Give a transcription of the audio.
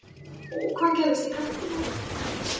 Og hvað gerðist í kaffitímanum?